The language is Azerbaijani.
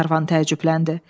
Glenarvan təəccübləndi.